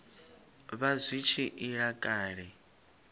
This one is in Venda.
vha zwi tshi ila kale